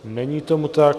Není tomu tak.